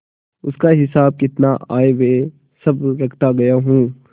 उसका हिसाबकिताब आयव्यय सब रखता गया हूँ